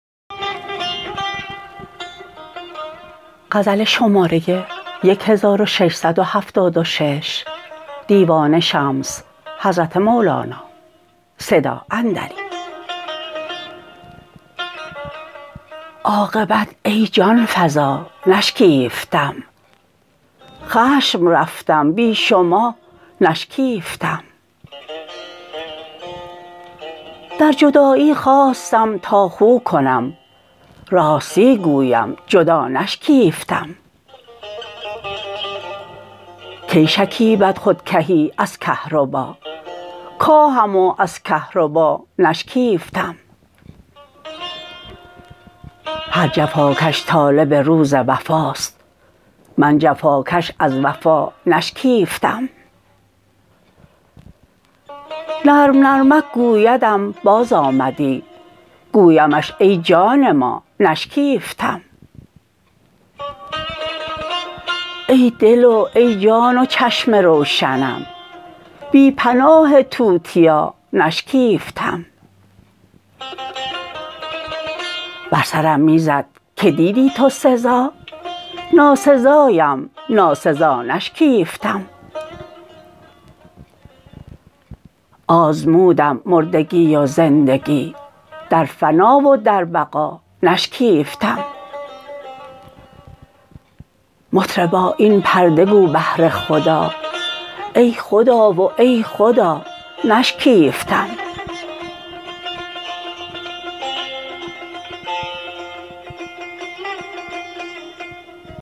عاقبت ای جان فزا نشکیفتم خشم رفتم بی شما نشکیفتم در جدایی خواستم تا خو کنم راستی گویم جدا نشکیفتم کی شکیبد خود کهی از کهربا کاهم و از کهربا نشکیفتم هر جفاکش طالب روز وفاست من جفاکش از وفا نشکیفتم نرم نرمک گویدم بازآمدی گویمش ای جان ما نشکیفتم ای دل و ای جان و چشم روشنم بی پناه توتیا نشکیفتم بر سرم می زد که دیدی تو سزا ناسزایم ناسزا نشکیفتم آزمودم مردگی و زندگی در فنا و در بقا نشکیفتم مطربا این پرده گو بهر خدا ای خدا و ای خدا نشکیفتم